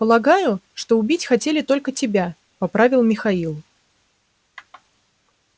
полагаю что убить хотели только тебя поправил михаил